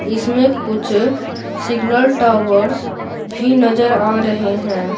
इसमें कुछ signal towers भी नजर आ रहे हैं।